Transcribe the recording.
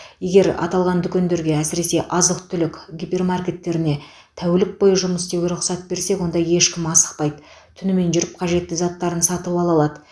егер аталған дүкендерге әсіресе азық түлік гипермаркеттеріне тәулік бойы жұмыс істеуге рұқсат берсек онда ешкім асықпайды түнімен жүріп қажетті заттарын сатып ала алады